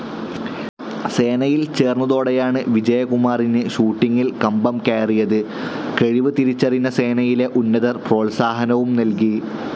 സേനയിൽ ചേർന്നതോടെയാണ് വിജയകുമാറിന് ഷൂട്ടിങ്ങിൽ കമ്പംകയറിയത്. കഴിവ് തിരിച്ചറിഞ്ഞ സേനയിലെ ഉന്നതർ പ്രോത്സാഹനവും നൽകി.